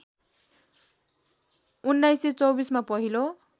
१९२४ मा पहिलो